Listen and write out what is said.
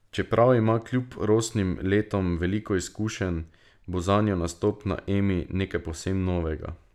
Čeprav ima kljub rosnim letom veliko izkušenj, bo zanjo nastop na Emi nekaj povsem novega.